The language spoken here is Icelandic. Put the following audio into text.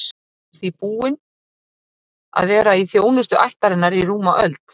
Hann er því búinn að vera í þjónustu ættarinnar í rúma öld.